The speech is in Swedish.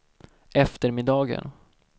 eftermiddagen